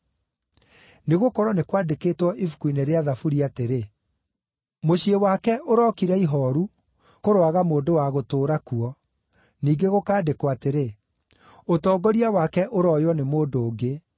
“Nĩgũkorwo nĩ kwandĩkĩtwo Ibuku-inĩ rĩa Thaburi atĩrĩ, “ ‘Mũciĩ wake ũrokira ihooru; kũroaga mũndũ wa gũtũũra kuo,’ ningĩ gũkaandĩkwo atĩrĩ, “ ‘Ũtongoria wake ũrooywo nĩ mũndũ ũngĩ.’